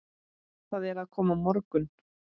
Það er að koma morgunn